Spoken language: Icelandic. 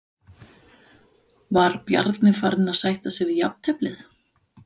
Var Bjarni farinn að sætta sig við jafnteflið?